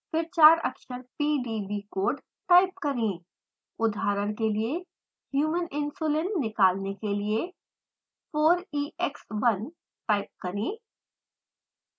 फिर 4 अक्षर pdb code type करें